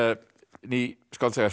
ný skáldsaga eftir